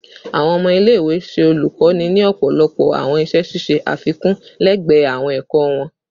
Awọn ọmọ ile-iwe ṣe olukoni ni ọpọlọpọ awọn iṣẹ ṣiṣe afikun lẹgbẹẹ awọn ẹkọ wọn